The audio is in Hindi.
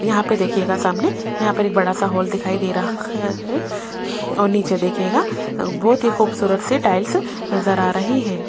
यहां पे देखिएगा सामने यहां पर एक बड़ा सा हॉल दिखाई दे रहा है और नीचे देखिएगा बहुत ही खूबसूरत सी टाइल्स नजर आ रही है।